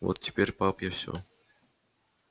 вот теперь пап я всё